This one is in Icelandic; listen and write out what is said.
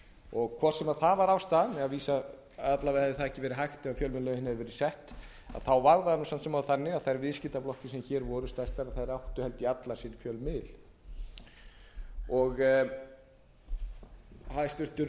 og hvort sem það var ástæðan alla vega hefði það ekki verið hægt ef fjölmiðlalögin hefðu verið sett þá var það samt sem áður þannig að þær viðskiptablokkir sem hér voru stærstar áttu held ég allar sinn fjölmiðil háttvirtur þingmaður þorgerður katrín gunnarsdóttir fyrrverandi menntamálaráðherra